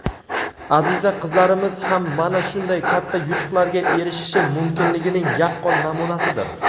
Aziza qizlarimiz ham mana shunday katta yutuqlarga erishishi mumkinligining yaqqol namunasidir.